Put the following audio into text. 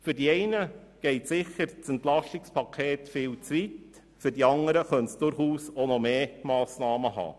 Für die einen geht das EP sicher viel zu weit, für die anderen könnte es durchaus auch noch mehr Massnahmen beinhalten.